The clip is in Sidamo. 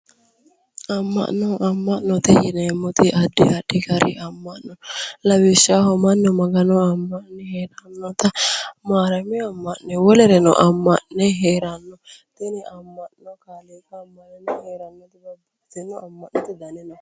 Amma'note yineemmori addi addi Gari amma'no mannu magano amma'ne heerano wolere amma'ne heeranno